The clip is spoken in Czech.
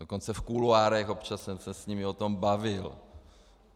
Dokonce v kuloárech občas jsem se s nimi o tom bavil.